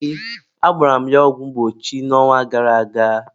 ee, agbara m ya ọgwụ mgbochi n'ọnwa gara aga.